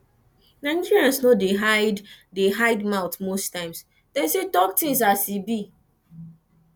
nigerians no dey hide dey hide mouth most times dem sey talk things as e be